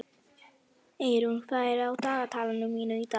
Eirún, hvað er á dagatalinu mínu í dag?